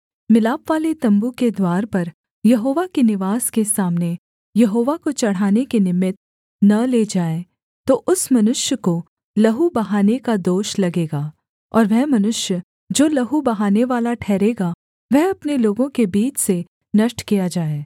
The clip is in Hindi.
मिलापवाले तम्बू के द्वार पर यहोवा के निवास के सामने यहोवा को चढ़ाने के निमित्त न ले जाए तो उस मनुष्य को लहू बहाने का दोष लगेगा और वह मनुष्य जो लहू बहानेवाला ठहरेगा वह अपने लोगों के बीच से नष्ट किया जाए